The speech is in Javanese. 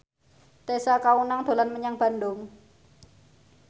Tessa Kaunang dolan menyang Bandung